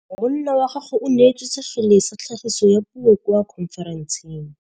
Monna wa gagwe o neetswe sekgele sa tlhagisô ya puo kwa khonferenseng.